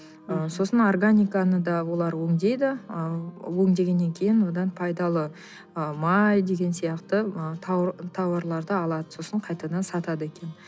ы сосын органиканы да олар өңдейді ы өңдегеннен кейін одан пайдалы ы май деген сияқты ы тауарларды алады сосын қайтадан сатады екен